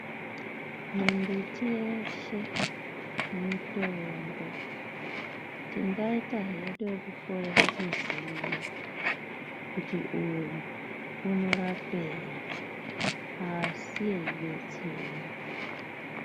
Mimbiti yeshe mitombo. Tingaita hedu ekukorera kuziya kuti uyu unorapei, asi yeidetsera.